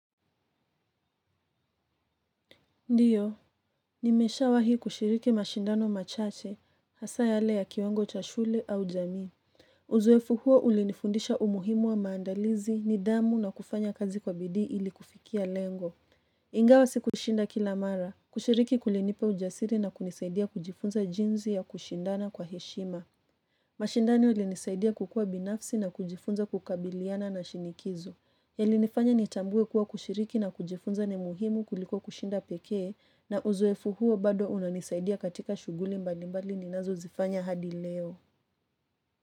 Ndiyo, nimeshawai kushiriki mashindano machache, hasa yale ya kiwango cha shule au jamii. Uzoefu huo ulinifundisha umuhimu wa maandalizi nidhamu na kufanya kazi kwa bidii ili kufikia lengo. Ingawa sikushinda kila mara, kushiriki kulinipa ujasiri na kunisaidia kujifunza jinsi ya kushindana kwa heshima. Mashindano yalinisaidia kukua binafsi na kujifunza kukabiliana na shinikizo. Yalinifanya ni tambuwe kuwa kushiriki na kujifunza ni muhimu kuliko kushinda pekee na uzoefu huo bado unanisaidia katika shughuli mbali mbali ninazozifanya hadi leo.